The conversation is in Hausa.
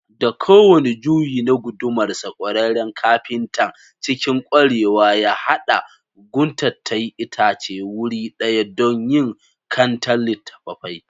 Da kowane juyi na gudumarsa, kwararren kafintan, cikin kwarewa ya haɗa guntattain itacen wuri ɗaya don yin kantar littattafai.